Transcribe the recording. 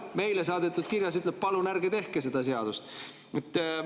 Meile saadetud kirjas öeldakse: palun ärge tehke seda seadust!